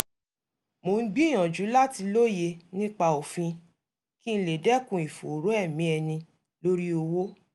mo ń gbìyànjú láti lóye nípa òfin kí n lè dẹ́kun ìfòòró ẹ̀mí ẹni lórí òwò